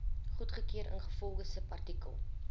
goedgekeur ingevolge subartikel